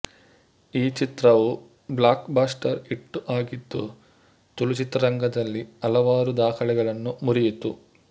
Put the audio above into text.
ಈ ಚಿತ್ರವು blockbuster hit ಆಗಿದ್ದು ತುಳು ಚಿತ್ರರಂಗದಲ್ಲಿ ಹಲವಾರು ದಾಖಲೆಗಳನ್ನು ಮುರಿಯಿತು